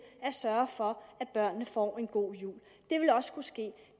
at sørge for at børnene får en god jul det vil også kunne ske